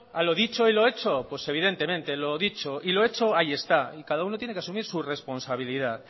a lo dicho y lo hecho pues evidentemente lo dicho y lo hecho ahí está y cada uno tiene que asumir su responsabilidad